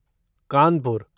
Kanpur